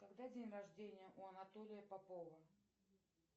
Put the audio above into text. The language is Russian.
когда день рождение у анатолия попова